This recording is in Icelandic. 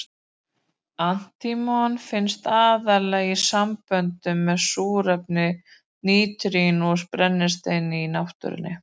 Antímon finnst aðallega í samböndum með súrefni, natríni og brennisteini í náttúrunni.